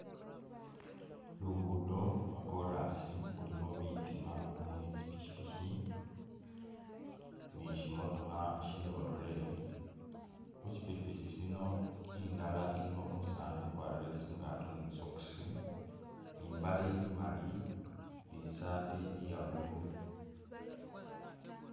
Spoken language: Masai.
Lugudo lwa korasi khulikho bitima muli tsi pikipiki ni shi mootokha shi lorry, khu shi pikipiki shino indala ilikho umusani ukwarile tsingato ni tsisokisi nimbale imali ni saati iya blue